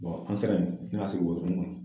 an sera yen nɔ ne a sigi wotoronin ŋɔnɔ